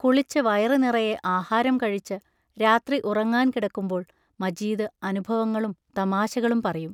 കുളിച്ചു വയറു നിറയെ ആഹാരം കഴിച്ച് രാത്രി ഉറങ്ങാൻ കിടക്കുമ്പോൾ മജീദ് അനുഭവങ്ങളും തമാശകളും പറയും.